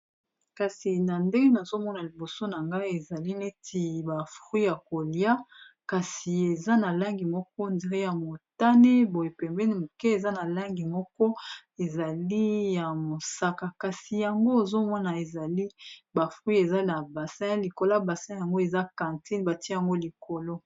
kasi na ndenge nazomona liboso na ngai ezali neti bafruit ya kolia kasi eza na langi moko dire ya motane boyepembeni moke eza na langi moko ezali ya mosaka kasi yango ozomona ezali bafruit eza na basi likolo basi yango eza cantine batia yango likolo